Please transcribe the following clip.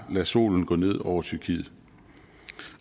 lade solen gå ned over tyrkiet